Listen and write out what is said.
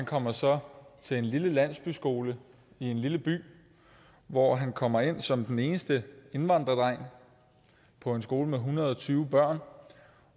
kommer så til en lille landsbyskole i en lille by hvor han kommer ind som den eneste indvandrerdreng på en skole med en hundrede og tyve børn